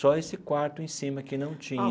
Só esse quarto em cima que não tinha.